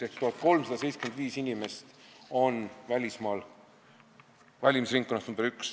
Ehk 1375 inimest rohkem.